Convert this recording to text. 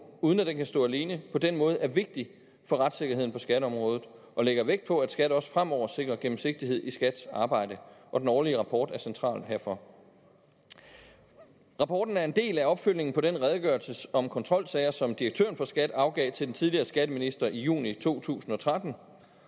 uden at den kan stå alene på den måde er vigtig for retssikkerheden på skatteområdet og lægger vægt på at skat også fremover sikrer gennemsigtighed i skats arbejde og den årlige rapport er central herfor rapporten er en del af opfølgningen på den redegørelse om kontrolsager som direktøren for skat afgav til den tidligere skatteminister i juni to tusind og tretten